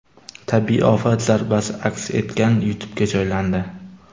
Tabiiy ofat zarbasi aks etgan YouTube’ga joylandi .